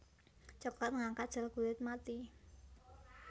Cokelat ngangkat sel kulit mati